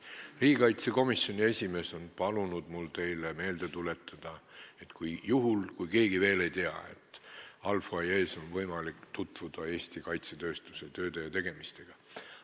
Riigikaitsekomisjoni esimees on mul palunud teile meelde tuletada – juhuks, kui keegi veel ei tea –, et vestibüülis on võimalik tutvuda Eesti kaitsetööstuse tööde ja tegemistega.